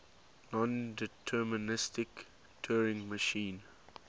nondeterministic turing machine